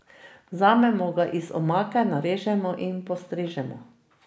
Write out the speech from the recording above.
Vzamemo ga iz omake, narežemo in postrežemo.